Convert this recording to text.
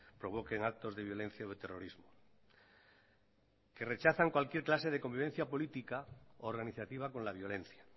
provoquen actos de violencia o de terrorismo que rechazan cualquier clase de convivencia política organizativa con la violencia